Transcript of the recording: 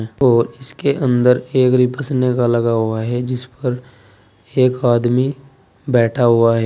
और इसके अंदर एक का लगा हुआ है जिस पर एक आदमी बैठा हुआ है।